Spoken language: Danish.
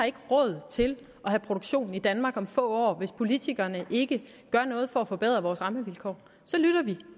ikke har råd til at have produktion i danmark om få år hvis politikerne ikke gør noget for at forbedre deres rammevilkår